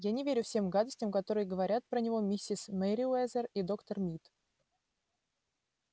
я не верю всем гадостям которые говорят про него миссис мерриуэзер и доктор мид